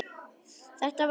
Það var reyndar